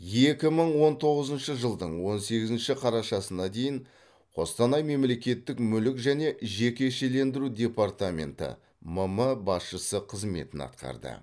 екі мың он тоғызыншы жылдың он сегізінші қарашасына дейін қостанай мемлекеттік мүлік және жекешелендіру департаменті мм басшысы қызметін атқарды